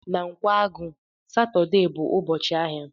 Na Nkwagu, Satọde bụ ụbọchị ahịa